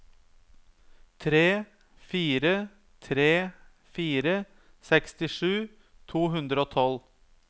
tre fire tre fire sekstisju to hundre og tolv